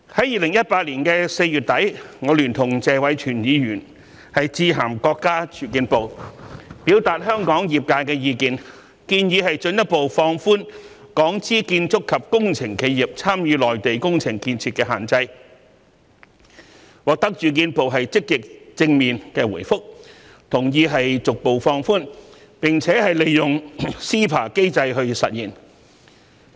2018年4月底，我曾聯同謝偉銓議員致函國家住房和城鄉建設部，表達香港業界的意見，建議進一步放寬港資建築及工程企業參與內地工程建設的限制，並獲得住建部積極和正面的回覆，同意逐步放寬及利用 CEPA 機制實現。